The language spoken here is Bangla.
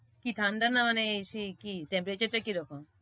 কি ঠাণ্ডা না মানে সেই কি temperature কি রকম?